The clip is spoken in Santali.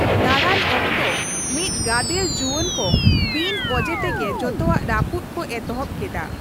ᱫᱟᱬᱟᱱ ᱚᱠᱛᱚ, ᱢᱤᱫ ᱜᱟᱫᱮᱞ ᱡᱩᱣᱟᱹᱱ ᱠᱚ ᱵᱤᱱ ᱚᱡᱮᱛᱮᱜᱮ ᱡᱚᱛᱚᱣᱟᱜ ᱨᱟᱹᱯᱩᱫ ᱠᱚ ᱮᱛᱚᱦᱚᱵ ᱠᱮᱫᱟ ᱾